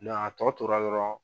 a tɔ tora dɔrɔn.